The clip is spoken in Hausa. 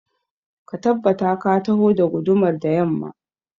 Ka tabbata ka taho da gudumar da yamma